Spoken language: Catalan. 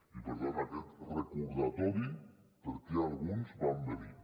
i per tant aquest recordatori per què alguns vam venir